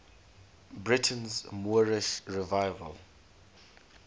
britain's moorish revival